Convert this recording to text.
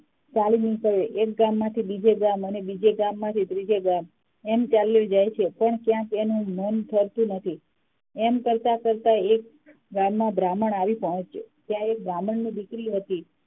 ચાલી નીક્ળ્યો એક ગામ થી બીજે ગામ અને બીજે ગામ માંથી ત્રીજે ગામ એમ ચાલ્યો જાય છે પણ એનુ મન ફરતું નથી એમ કરતા કરતા તે એક ગામ માં આવી પોહચ્યો ત્યા એક બ્રાહ્મણની દીકરી હતી